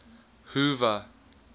hoover